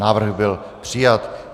Návrh byl přijat.